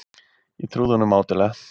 Ég trúði honum mátulega.